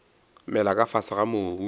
mela ka fase ga mobu